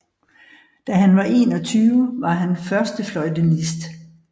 Da han var 21 var han førstefløjtenist